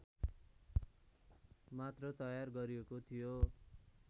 मात्र तयार गरिएको थियो